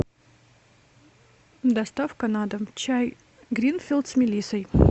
доставка на дом чай гринфилд с мелиссой